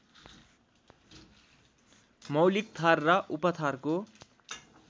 मौलिक थर र उपथरको